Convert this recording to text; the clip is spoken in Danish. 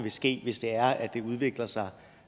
ville ske hvis det er at det udvikler sig